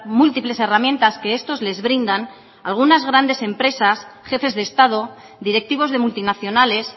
múltiples herramientas que estos les brindan algunas grandes empresas jefes de estado directivos de multinacionales